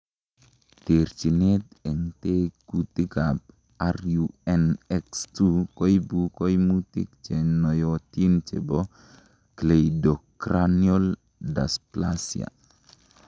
Terchinet en tekutikab RUNX2 koibu koimutik chenoyotin chebo cleidocranial dysplasia.